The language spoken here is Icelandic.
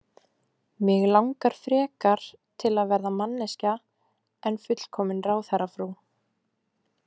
Mig langar frekar til að vera manneskja en fullkomin ráðherrafrú.